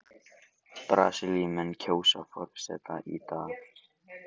Brasilíumenn kjósa forseta í dag